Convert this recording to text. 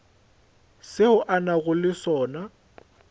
seo a nago le sona